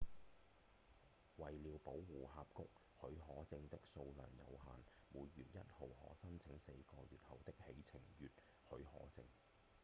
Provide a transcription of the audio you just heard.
為了保護峽谷許可證的數量有限每月1號可申請四個月後的起程月許可證